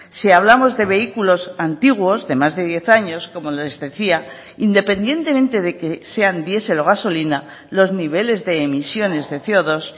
si hablamos de vehículos antiguos de más de diez años como les decía independientemente de que sean diesel o gasolina los niveles de emisiones de ce o dos